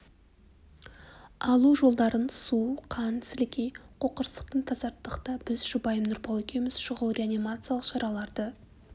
алу жолдарын су қан сілекей қоқырсықтан тазарттық та біз жұбайым нұрбол екеуіміз шұғыл реанимациялық шараларды